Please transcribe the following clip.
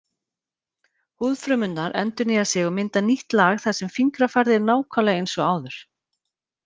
Húðfrumurnar endurnýja sig og mynda nýtt lag þar sem fingrafarið er nákvæmlega eins og áður.